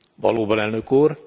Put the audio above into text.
Valóban Elnök Úr!